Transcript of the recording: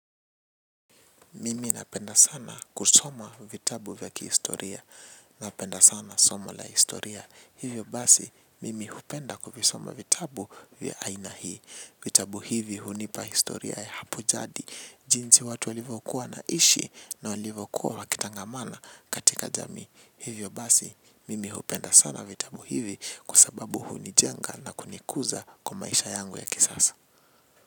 Mimi napenda sana kusoma vitabu vya kihistoria. Napenda sana soma la historia. Hivyo basi, mimi hupenda kuvisoma vitabu vya aina hii. Vitabu hivi hunipa historia ya hapo jadi. Jinsi watu walivyokuwa wanaishi na walivyokuwa wakitangamana katika jamii. Hivyo basi, mimi hupenda sana vitabu hivi kwa sababu hunijenga na kunikuza kumaisha yangu ya kisasa.